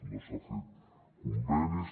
no s’han fet convenis